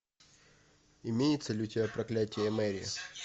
имеется ли у тебя проклятие мэри